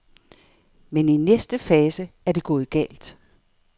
Men i næste fase er det gået galt.